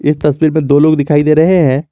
तस्वीर में दो लोग दिखाई दे रहे हैं।